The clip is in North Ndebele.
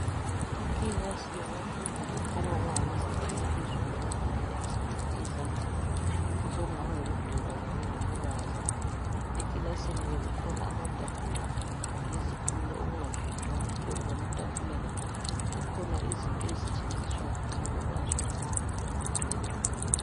Ikilasi yabafundi okukhanya ukuba ngabezinga eliphezulu abafundela imisebenzi yezandla osokungaba yikudweba kanye lokubaza. Ekilasini kukhona amatafula lezitulo okungapendwanga phezulu kwamatafula la kukhona izinto ezisetshenziswa nxa kubazwa lanxa kudwetshwa.